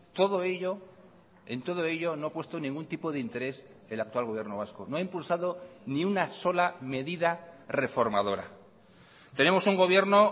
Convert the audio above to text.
todo ello en todo ello no ha puesto ningún tipo de interés el actual gobierno vasco no ha impulsado ni una sola medida reformadora tenemos un gobierno